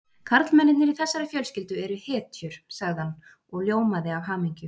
Karlmennirnir í þessari fjölskyldu eru hetjur sagði hann og ljómaði af hamingju.